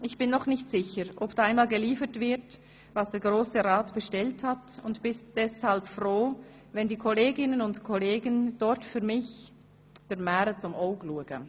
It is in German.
Ich bin noch nicht sicher, ob da einmal geliefert wird, was der Grosse Rat bestellt hat und bin deshalb froh, wenn die Kolleginnen und Kollegen dort für mich ‹dr Märe zum Oug luege›».